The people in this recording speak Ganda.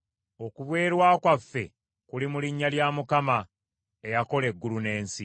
Okubeerwa kwaffe kuli mu linnya lya Mukama , eyakola eggulu n’ensi.